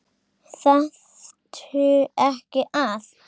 Þarftu ekki að?